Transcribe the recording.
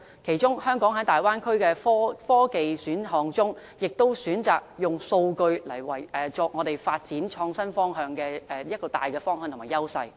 其中，香港在大灣區的科技選項中，可選擇"數據"為我們發展創新科技的大方向和優勢。